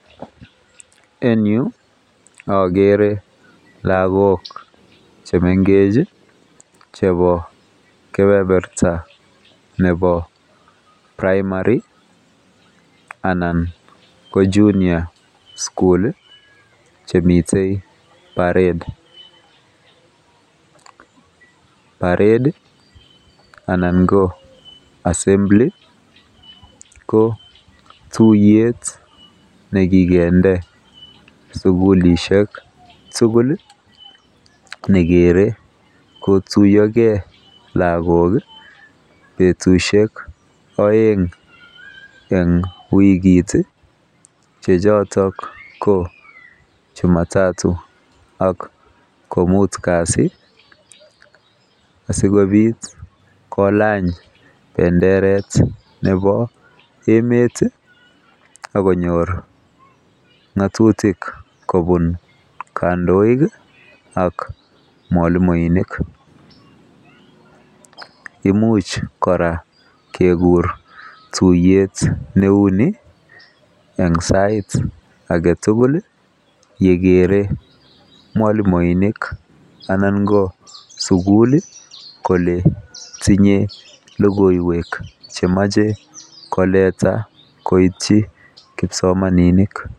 En yuu okere lokok chemengechi chebo kepeperta nebo primary anan ko junior school lii chemiten parede anan ko assembly ko tuyet nekikende sukulishek tukul nekere kotuyogee lokok betushek oeng en wikit chechoton ko chumatatu ak kimut kasit asikopit kokany penderet nebo emet tii ak konyor ngotutik kobun kondoik kii ak mwalimuinik, imuch koraa kekur tuyet neu nii en sait agetutuk nekere mwalimuinik ana ko sukul lii kole tinye lokoiwek chemoche koleta koityi kipsomaninik.